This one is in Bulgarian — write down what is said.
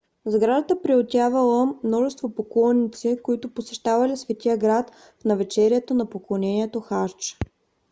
сградата приютявала множество поклонници които посещавали светия град в навечерието на поклонението хадж